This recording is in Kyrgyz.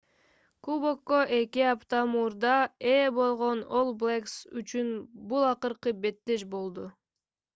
кубокко эки апта мурда ээ болгон all blacks үчүн бул акыркы беттеш болду